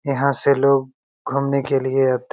यहाँ से लोग घूमने के लिए --